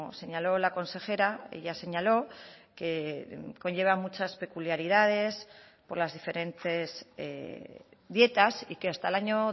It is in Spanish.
señaló la consejera ella señaló que conlleva muchas peculiaridades por las diferentes dietas y que hasta el año